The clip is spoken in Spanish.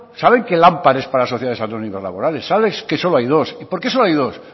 saben que lampar es para sociedades anónimas laborales sabes que solo hay dos y por qué solo hay dos